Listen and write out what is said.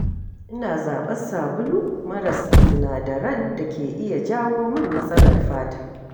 Ina zaɓar sabulu maras sinadaran da ke iya jawo min matsalar fata.